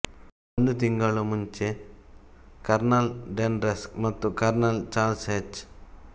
ಒಂದು ತಿಂಗಳು ಮುಂಚೆ ಕರ್ನಲ್ ಡೆನ್ ರಸ್ಕ್ ಮತ್ತು ಕರ್ನಲ್ ಚಾರ್ಲ್ಸ್ ಹೆಚ್